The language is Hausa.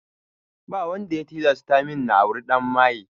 Ba wanda ya tilasta min na auri ɗan maye